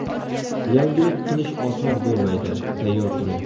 Yangilik qilish oson bo‘lmaydi, tayyor turing.